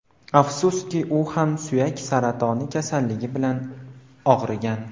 Afsuski u ham suyak saratoni kasalligi bilan og‘rigan.